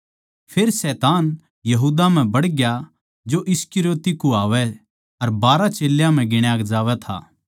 फेर शैतान यहूदा म्ह बडग्या जो इस्करियोती कहवावै अर बारहां चेल्यां म्ह गिण्या जावै था